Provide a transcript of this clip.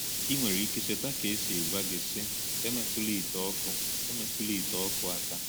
Ị nwere ike icheta ka e si gwa gị, sị: “Emetụla ite ọkụ “Emetụla ite ọkụ aka.”